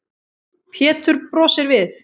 Pétur brosir við.